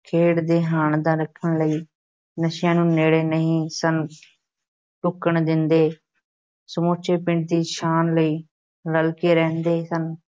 ਖੇਡਾਂ ਦੇ ਹਾਣ ਦਾ ਰੱਖਣ ਲਈ ਨਸ਼ਿਆਂ ਨੂੰ ਨੇੜੇ ਨਹੀਂ ਸਨ ਢੁੱਕਣ ਦਿੰਦੇ, ਸਮੁੱਚੇ ਪਿੰਡ ਦੀ ਸ਼ਾਨ ਲਈ ਰਲ ਕੇ ਰਹਿੰਦੇ ਸਨ,